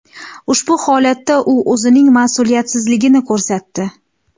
Ushbu holatda u o‘zining mas’uliyatsizligini ko‘rsatdi.